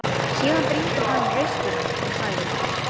Þeir hafa líka sama orðafar, sömu mállýti, sömu líkamlegu kvilla.